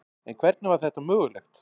En hvernig var þetta mögulegt?